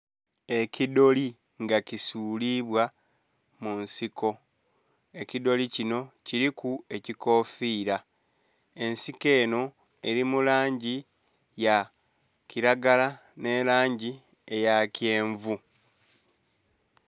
Eki dooli nga kisulibwa munsiko, edooli kinho kiliku ekikofira nga ensiko enho Eli mu langi ya kilagala nhe langi ya kyenvu.